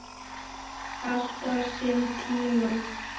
Allt á sinn tíma.